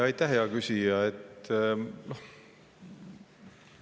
Aitäh, hea küsija!